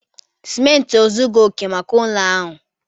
Simenti ezughi oke maka ụlọ ahụ